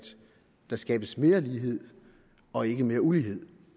der skabes mere lighed og ikke mere ulighed